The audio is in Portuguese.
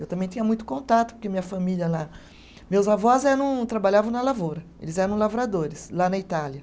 Eu também tinha muito contato, porque minha família lá. Meus avós eram, trabalhavam na lavoura, eles eram lavradores lá na Itália.